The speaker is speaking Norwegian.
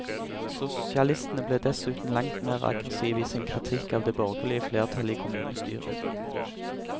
Sosialistene ble dessuten langt mer aggressive i sin kritikk av det borgerlige flertallet i kommunestyret.